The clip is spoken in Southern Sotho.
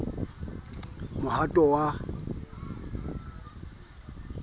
b c d mohwanto wa